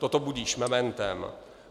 Toto budiž mementem."